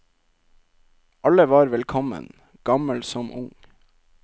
Alle var velkommen, gammel som ung.